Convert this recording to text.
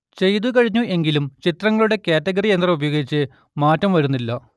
ചെയ്തു കഴിഞ്ഞു എങ്കിലും ചിത്രങ്ങളുടെ കാറ്റഗറി യന്ത്രം ഉപയോഗിച്ച് മാറ്റം വരുന്നില്ല